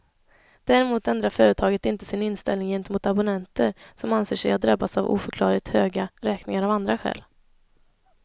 Däremot ändrar företaget inte sin inställning gentemot abonnenter som anser sig ha drabbats av oförklarligt höga räkningar av andra skäl.